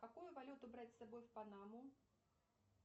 какую валюту брать с собой в панаму